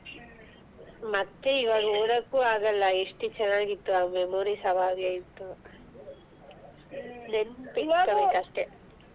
ಹ್ಮ್ ಮತ್ತೆ ಈವಾಗ ಹೇಳಕ್ಕು ಆಗಲ್ಲ ಎಷ್ಟ್ ಚೆನ್ನಾಗಿತ್ತು ಆ memories ಹಾಗೆ ಇತ್ತು ಅಷ್ಟೇ.